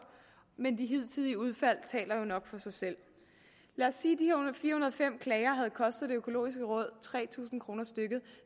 men de hidtidige udfald taler jo nok for sig selv lad os sige at og fem klager havde kostet det økologiske råd tre tusind kroner stykket